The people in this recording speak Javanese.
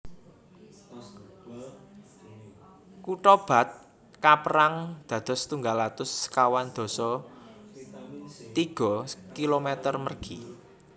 Kutha Bath kaperang dados setunggal atus sekawan dasa tiga kilometer mergi